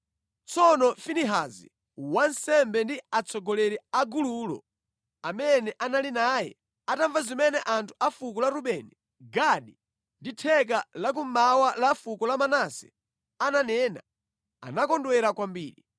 Tsono Finehasi wansembe ndi atsogoleri a gululo amene anali naye atamva zimene anthu a fuko la Rubeni, Gadi ndi theka lakummawa la fuko la Manase ananena, anakondwera kwambiri.